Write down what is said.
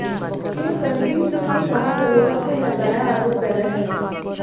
CO Karmveer Singh ने कहा दरोगा पर लगाया आरोप गलत है